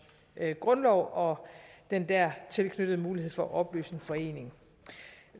grundlov og den dertil knyttede mulighed for at opløse en forening